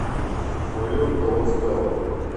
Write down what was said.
майорка ласкала